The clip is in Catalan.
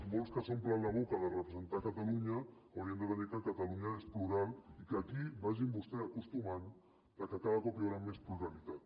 molts que s’omplen la boca de representar catalunya haurien de tenir clar que catalunya és plural i que aquí vagin vostès acostumant se que cada cop hi haurà més pluralitat